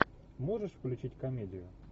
можешь включить комедию